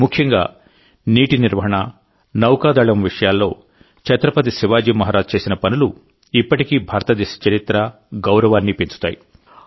ముఖ్యంగానీటి నిర్వహణ నౌకాదళం విషయాల్లో ఛత్రపతి శివాజీ మహారాజ్ చేసిన పనులు ఇప్పటికీ భారతదేశ చరిత్ర గౌరవాన్ని పెంచుతాయి